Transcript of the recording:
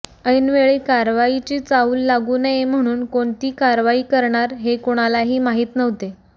ऐनवेळी कारवाईची चाहूल लागू नये म्हणून कोणती कारवाई करणार हे कुणालाही माहीत नव्हते